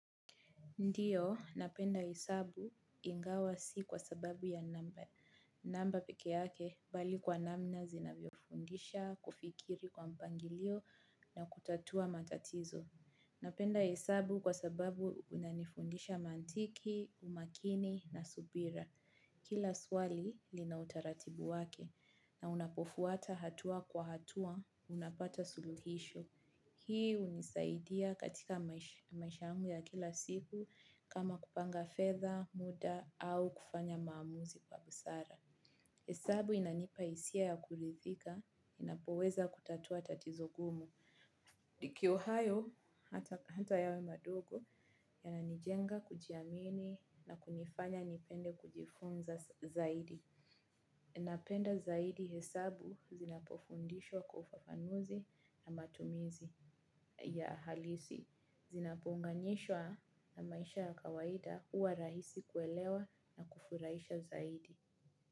Ndiyo, napenda hesabu ingawa si kwa sababu ya namba peke yake bali kwa namna zinavyo fundisha, kufikiri kwa mpangilio na kutatua matatizo. Napenda hesabu kwa sababu unanifundisha mantiki, umakini na subira. Kila swali linautaratibu wake na unapofuata hatua kwa hatua unapata suluhisho. Hii unisaidia katika maisha yangu ya kila siku kama kupanga fedha muda au kufanya maumuzi kwa busara. Hisabu inanipaisia ya kulithika, inapoweza kutatua tatizogumu. Ikiwa hayo, hata yawe madogo, yananijenga kujiamini na kunifanya nipende kujifunza zaidi. Napenda zaidi hesabu zinapofundishwa kwa ufafanuzi na matumizi ya halisi. Zinapounganishwa na maisha ya kawaida huwa rahisi kuelewa na kufurahisha zaidi.